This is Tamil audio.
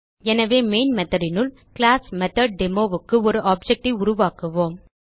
எனவே மெயின் methodனுள் classMethodDemoக்கு ஒரு ஆப்ஜெக்ட் ஐ உருவாக்குவோம்